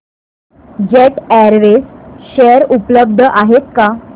jet Airways share उपलब्ध आहेत का